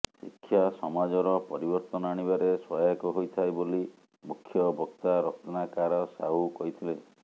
ଶିକ୍ଷା ସମାଜର ପରିବର୍ତ୍ତନ ଆଣିବାରେ ସହାୟକ ହୋଇଥାଏ ବୋଲି ମୁଖ୍ୟ ବକ୍ତା ରତ୍ନାକାର ସାହୁ କହିଥିଲେ